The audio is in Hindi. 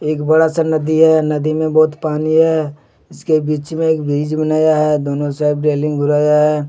एक बड़ा सा नदी है नदी में बहुत पानी है इसके बीच में एक ब्रिज बनाया है दोनों साइड रेलिंग घेराया है।